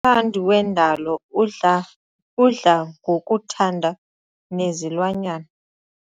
mthandi wendalo udla udla ngokuthanda nezilwanyana.